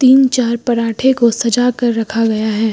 तीन चार परांठे को सजा कर रखा गया है।